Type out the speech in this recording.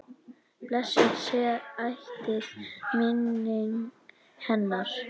Blessuð sé ætíð minning hennar.